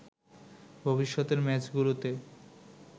ভবিষ্যতের ম্যাচগুলোতে